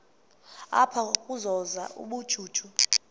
apha ukuzuza ubujuju